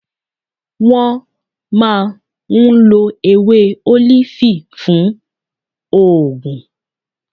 Wọn máà ń ló ewé olifi fun óògùn.